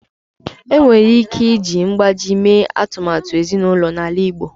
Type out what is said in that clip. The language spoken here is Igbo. Enwere ike iji mgbájí mee atụmatụ ezinụlọ n'ala Igbo